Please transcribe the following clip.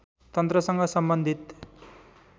तन्त्रसँग सम्बन्धित